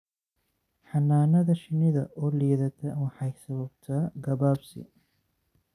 Xannaanada shinnida oo liidata waxay sababtaa gabaabsi.